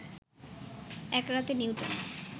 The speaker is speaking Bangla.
এক রাতে নিউটন